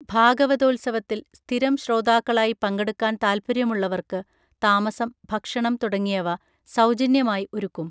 ഭാഗവതോത്സവത്തിൽ സ്ഥിരം ശ്രോതാക്കളായി പങ്കെടുക്കാൻ താല്പര്യമുള്ളവർക്ക് താമസം ഭക്ഷണം തുടങ്ങിയവ സൗജന്യമായി ഒരുക്കും